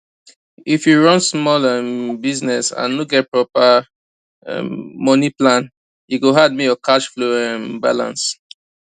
if you run small um business and no get proper um money plan e go hard make your cash flow um balance